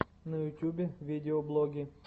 на ютюбе видеоблоги